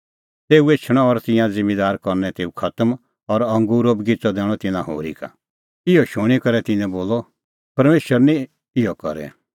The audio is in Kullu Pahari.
तेऊ एछणअ और तिंयां ज़िम्मींदार करनै तेऊ खतम और अंगूरो बगिच़अ दैणअ तिन्नां होरी का इहअ शूणीं करै तिन्नैं बोलअ परमेशर निं इहअ करे